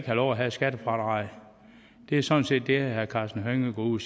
lov at have et skattefradrag det er sådan set det herre karsten hønge går ud